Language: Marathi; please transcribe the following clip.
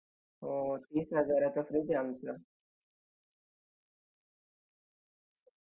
पण बाकीच्या अजुन ज्या pending delivery आहेत sorry sir